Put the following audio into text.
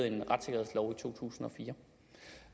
en retssikkerhedslov i to tusind og fire